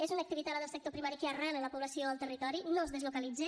és una activitat la del sector primari que arrela la població al territori no es deslocalitza